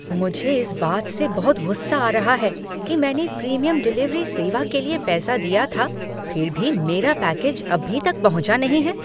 मुझे इस बात से बहुत गुस्सा आ रहा है कि मैंने प्रीमियम डिलीवरी सेवा के लिए पैसा दिया था फिर भी मेरा पैकेज अभी तक पहुँचा नहीं है।